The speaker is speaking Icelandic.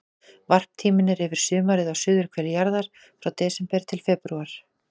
Varptíminn er yfir sumarið á suðurhveli jarðar, frá desember til febrúar.